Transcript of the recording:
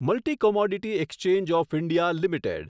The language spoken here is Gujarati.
multi commodity exchange of India limited